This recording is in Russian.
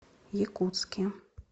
якутске